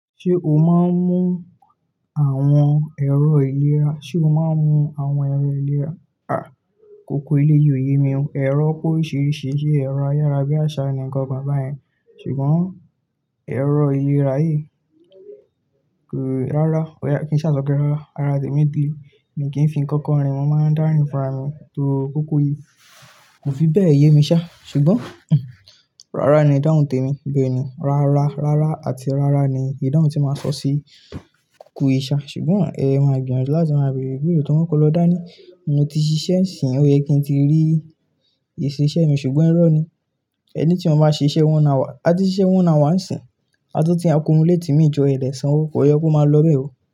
Ṣé o máa ń mú àwọn ẹ̀rọ ìlera? Sé o máa ń mú àwọn ẹ̀rọ ìlera? Kòkò eléyìí ò ye mi o. Ẹ̀rọ pe oríṣiríṣi ṣe, ẹ̀rọ ayárabíàṣá nìkan bàbá yẹn, ṣùgbọ́n ẹ̀rọ ìlera yìí kò-- rárá, kí n sa sope rárá. Ara tèmi ti mi kí ń fi ń kọ́kọ́ rin, mo máa ń dárìn fúnra mi tó kòkò yìí. Kò fi bẹ́ẹ̀ ye mi ṣá, ṣùgbọ́n rárá ni ìdáhùn tèmi. Bẹ́ẹ̀ ni, rárá, rárá àti rárá ni ìdáhùn tí màá sọ sí kòkò ìṣá. Ṣùgbọ́n ẹ máa gbìyànjú láti máa bèrè ìbéèrè tó hán kọ́ lọ dá ní, mo ti ṣiṣẹ́ ẹ̀sìn, òye kí n ti rí ìṣiṣẹ́ mi ṣùgbọ́n ẹ̀rọ ni. Ẹni tí mo bá ṣe iṣẹ́ one hour, a ti ṣe iṣẹ́ one hour nisìn. A tun ti ń accumulate imi jo ẹ̀ o dẹ́san owó kò yẹ kó máa lọ́bẹ́ o.